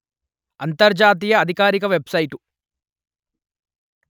అంతర్జాతీయ అధికారిక web site